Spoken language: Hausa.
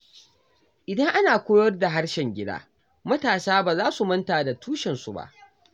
Idan ana koyar da harshen gida, matasa ba za su manta da tushensu ba.